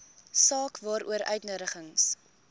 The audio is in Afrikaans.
saak waaroor uitnodigings